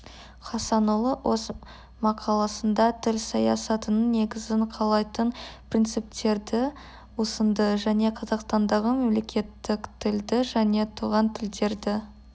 хасанұлы өз мақаласында тіл саясатының негізін қалайтын принциптерді ұсынды және қазақстандағы мемлекеттік тілді және туған тілдерді